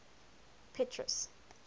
petrus